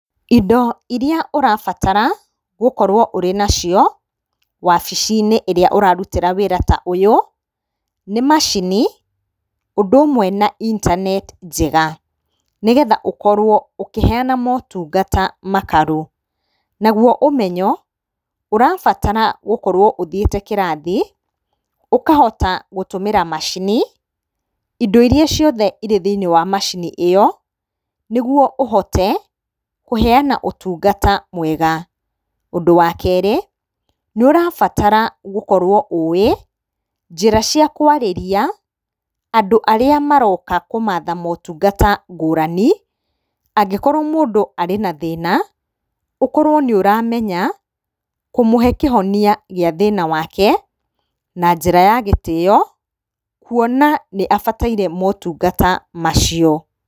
Indo iria ũrabatara gũkorwo ũrĩ na cio wabici-inĩ ĩrĩa ũrarutĩra wĩra ta ũyũ, nĩ macini ũndũ ũmwe na intaneti njega, nĩgetha ũkorwo ũkĩheana motungata makarũ. Naguo ũmenyo, ũrabatara gũkorwo ũthiĩte kĩrathi ũkahota gũtũmĩra macini, indo iria ciothe irĩ thĩiniĩ wa macini ĩyo nĩguo ũhote kũheana ũtungata mwega. Ũndũ wa kerĩ nĩ ũrabatara gũkowo ũĩ njĩra cia kũarĩria andũ arĩa maroka kũmatha motungata ngũrani, angĩkorwo mũndũ arĩ na thĩna ũkorwo nĩ ũramenya ,kũmũhe kĩhonia gĩa thĩna wake na njĩra gĩtĩo kuona nĩ abataire motungata macio.